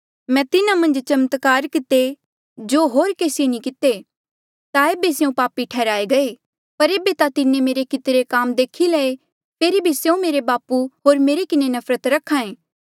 मैं तिन्हा मन्झ चमत्कार किते जो होर केसिये नी किते ता एेबे स्यों पापी ठैहराये गये पर एेबे ता तिन्हें मेरे कितरे काम देखी लये फेरी भी स्यों मेरा बापू होर मेरे किन्हें नफरत करहा एें